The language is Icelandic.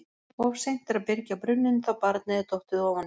Of seint er að byrgja brunninn þá barnið er dottið ofan í.